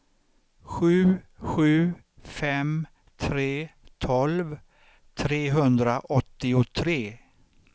sju sju fem tre tolv trehundraåttiotre